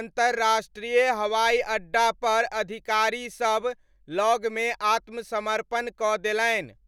अन्तरराष्ट्रीय हवाइअड्डापर अधिकारीसब लगमे आत्मसमर्पण कऽ देलनि।